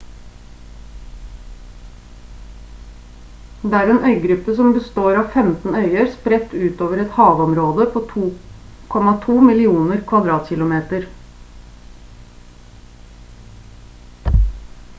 det er en øygruppe som består av 15 øyer spredt ut over et havområde på 2,2 millioner km2